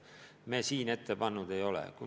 Seda me eelnõus ette pannud ei ole.